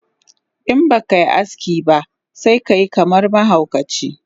Inbakai aski ba sekayi kaman mahaukaci